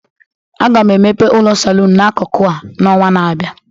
Aga m emepe ụlọ saloon n'akụkụ a n'ọnwa na-abịa